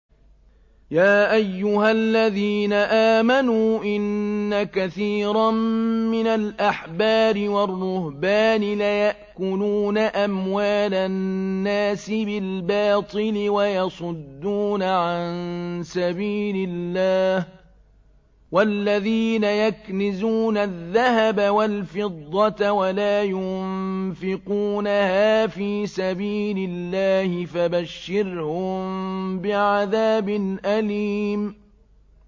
۞ يَا أَيُّهَا الَّذِينَ آمَنُوا إِنَّ كَثِيرًا مِّنَ الْأَحْبَارِ وَالرُّهْبَانِ لَيَأْكُلُونَ أَمْوَالَ النَّاسِ بِالْبَاطِلِ وَيَصُدُّونَ عَن سَبِيلِ اللَّهِ ۗ وَالَّذِينَ يَكْنِزُونَ الذَّهَبَ وَالْفِضَّةَ وَلَا يُنفِقُونَهَا فِي سَبِيلِ اللَّهِ فَبَشِّرْهُم بِعَذَابٍ أَلِيمٍ